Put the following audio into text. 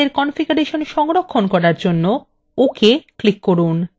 আপনার কনফিগারেশন সংরক্ষণ করার জন্য ok click করুন